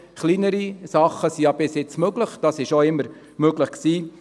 Kleinere Sachen sind ja schon bisher möglich und sie auch immer möglich gewesen.